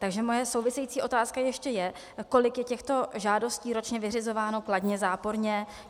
Takže moje související otázka ještě je, kolik je těchto žádostí ročně vyřizováno kladně, záporně.